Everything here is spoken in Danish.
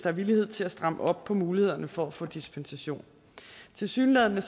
er villighed til at stramme op på mulighederne for at få dispensation tilsyneladende